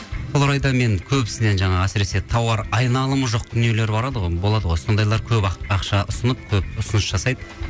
сол орайда мен көбісінен жаңағы әсіресе тауар айналымы жоқ дүниелер болады ғой сондайлар көп ақша ұсынып көп ұсыныс жасайды